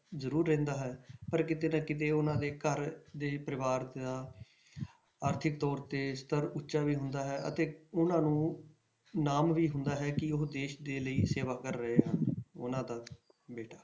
ਜ਼ਰੂਰ ਰਹਿੰਦਾ ਹੈ ਪਰ ਕਿਤੇ ਨਾ ਕਿਤੇ ਉਹਨਾਂ ਦੇ ਘਰ ਦੇ ਪਰਿਵਾਰ ਦਾ ਆਰਥਿਕ ਤੌਰ ਤੇ ਸਤਰ ਉੱਚਾ ਵੀ ਹੁੰਦਾ ਹੈ ਅਤੇ ਉਹਨਾਂ ਨੂੰ ਨਾਮ ਵੀ ਹੁੰਦਾ ਹੈ ਕਿ ਉਹ ਦੇਸ ਦੇ ਲਈ ਸੇਵਾ ਕਰ ਰਹੇ ਹਨ ਉਹਨਾਂ ਦਾ ਬੇਟਾ।